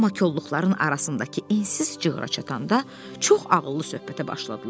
Amma kolluqların arasındakı ensiz cığıra çatanda çox ağıllı söhbətə başladılar.